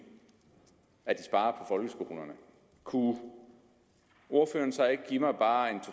at de sparer folkeskolerne kunne ordføreren så ikke give mig bare to